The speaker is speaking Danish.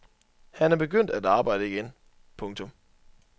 Han er begyndt at arbejde igen. punktum